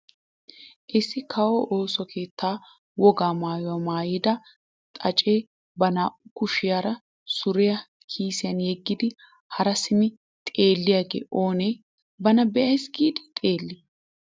Issi kawo ooso keettaa wogaa maayuwaa maayida xaacee ba naa"u kushiyaa suriyaa kiisiyaan yegidi haa simmi xeelliyaagee ooni bana be'ays giidi xeellii!